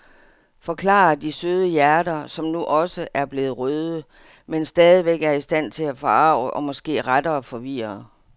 Forklarer de søde hjerter, som nu også er blevet røde, men stadigvæk er i stand til at forarge eller måske rettere forvirre.